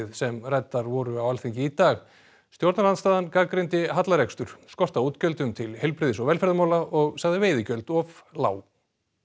sem ræddar voru á Alþingi í dag stjórnarandstaðan gagnrýndi hallarekstur skort á útgjöldum til heilbrigðis og velferðarmála og sagði veiðigjöld of lág